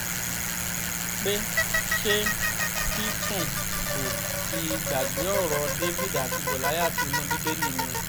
pé ṣé tìtúngbù ti gbàgbé ọ̀rọ̀ david àti gòláìath inú bíbélì ni